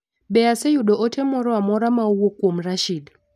Be aseyudo ote moro amora ma owuok kuom Rashid.